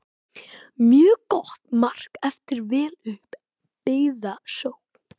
Mjög gott mark eftir vel upp byggða sókn.